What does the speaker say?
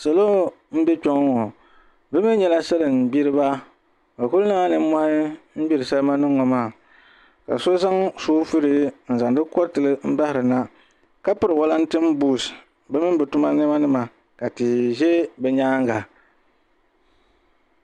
Salo n bɛ kpɛ ŋo ŋo bi mii nyɛla salin gbiriba bi ku niŋla nimmohi n gbiri salima nim ŋo maa ka so zaŋ soovul n zaŋdi koritili n baharina ka piri wolatin buuts di mini bi tuma niɛma ni nima ka tihi ʒɛ bi nyaanga